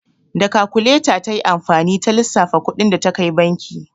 Da kakuleta ta yi amfani ta lissafa kuɗin da ta kai banki.